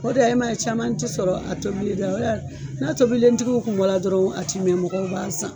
O de la e ma ye caman ti sɔrɔ a tɔbili la o de la n'a tobilentigiw kun bɔra dɔrɔn ati mɛn mɔgɔw b'a san